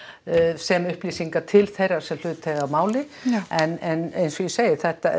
sem upplýsingar til þeirra sem hlut eiga að máli en eins og ég segi